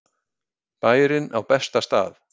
Bærinn á besta stað